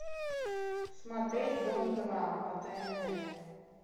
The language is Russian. смотреть дом два по тнт